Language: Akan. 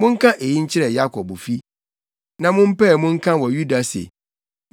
“Monka eyi nkyerɛ Yakobfi na mo mpae mu nka wɔ Yuda se: